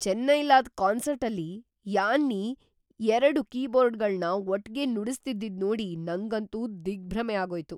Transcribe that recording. ಚೆನ್ನೈಯಲ್ಲಾದ್ ಕಾನ್ಸರ್ಟಲ್ಲಿ ಯಾನ್ನಿ ಎರಡು ಕೀಬೋರ್ಡ್ಗಳ್ನ ಒಟ್ಗೆ ನುಡಿಸ್ತಿದ್ದಿದ್‌ ನೋಡಿ ನಂಗಂತೂ ದಿಗ್ಭ್ರಮೆ ಆಗೋಯ್ತು.